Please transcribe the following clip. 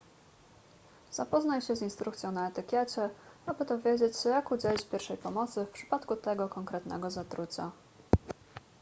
zapoznaj się z instrukcją na etykiecie aby dowiedzieć się jak udzielić pierwszej pomocy w przypadku tego konkretnego zatrucia